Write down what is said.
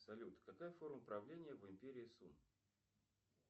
салют какая форма правления в империи сун